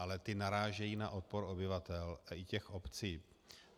Ale ta narážejí na odpor obyvatel i těch obcí.